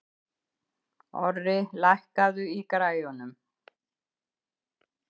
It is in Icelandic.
Orri, lækkaðu í græjunum.